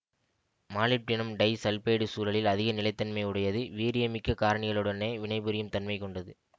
molybdenum disulphide சூழலில் அதிக நிலைத்தன்மை உடையது வீரியமிக்க காரணிகளுடனே வினைபுரியும் தன்மை கொண்டது